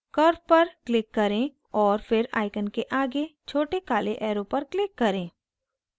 curve पर click करें और फिर icon के आगे छोटे काले arrow पर click करें